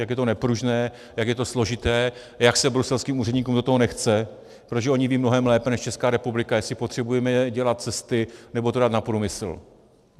Jak je to nepružné, jak je to složité, jak se bruselským úředníkům do toho nechce, protože oni vědí mnohem lépe než Česká republika, jestli potřebujeme dělat cesty nebo to dát na průmysl.